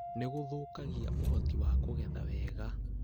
nĩ gũthũkagia ũhoti wa kũgetha wega